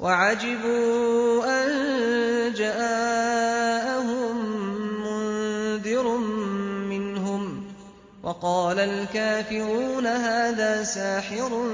وَعَجِبُوا أَن جَاءَهُم مُّنذِرٌ مِّنْهُمْ ۖ وَقَالَ الْكَافِرُونَ هَٰذَا سَاحِرٌ